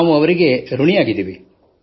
ನಾವು ಅವರಿಗೆ ಋಣಿಯಾಗಿದ್ದೇವೆ